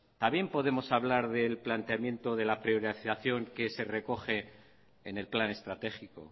también podemos hablar del planteamiento de la priorización que se recoge en el plan estratégico